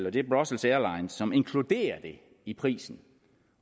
og det er brussels airlines som inkluderer det i prisen